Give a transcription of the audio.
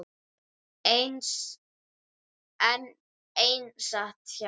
Einn sat hjá.